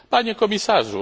Panie Komisarzu!